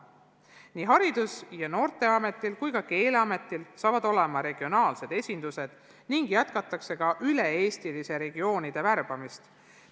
Nii Haridus- ja Noorteametil kui ka Keeleametil saavad olema regionaalsed esindused ning jätkatakse ka töötajate üle-eestilist värbamist nendesse.